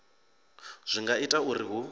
zwi nga ita uri hu